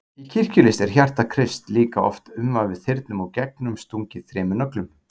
Í kirkjulist er hjarta Krists líka oft umvafið þyrnum og gegnumstungið þremur nöglum.